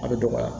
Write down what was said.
A bɛ dɔgɔya